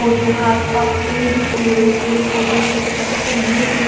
और यहां आस पास पेड़ ही पेड़ है पेड़ पौधे छोटे छोटे पर ये पेड़--